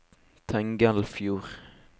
Tengelfjord